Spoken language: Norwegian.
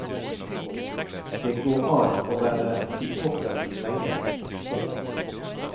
Det går an å være i toppen lenge. punktum